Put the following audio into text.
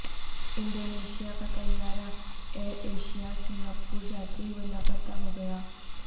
Indonesia کاطیارہ Air Asia Singapore جاتے ہوئے لاپتہ ہو گیا